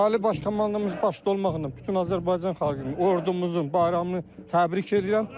Ali Baş Komandanımız başda olmaqla bütün Azərbaycan xalqını, ordumuzun bayramını təbrik edirəm.